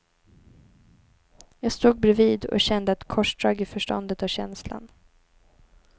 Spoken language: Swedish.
Jag stod bredvid och kände ett korsdrag i förståndet och känslan.